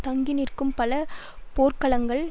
தாங்கிநிற்கும் பல போர்க்களங்களை